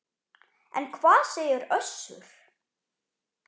En hvað segir Össur?